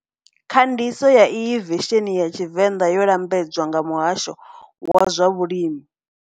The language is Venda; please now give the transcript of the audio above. Khandiso ya iyi vesenhi ya Tshivenda yo lambedzwa nga Muhasho wa zwa Vhulimi.